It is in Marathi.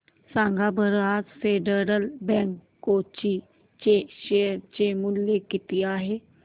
सांगा बरं आज फेडरल बँक कोची चे शेअर चे मूल्य किती आहे